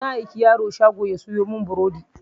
Na aiki yaro shago ya sayo mun burodi